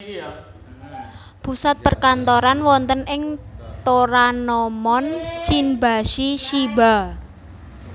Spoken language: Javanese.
Pusat perkantoran wonten ing Toranomon Shinbashi Shiba